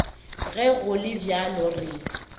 ge go le bjalo re